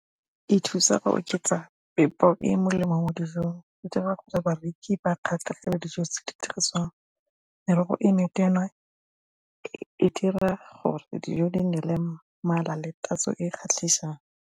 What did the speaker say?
E thusa ka oketsa e e molemo mo dijong e dira gore bareki ba kgatlhegele dijo tse di dirisiwang merogo e e dira gore dijo di nne le mmala le tatso e e kgatlhisang.